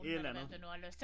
Et eller andet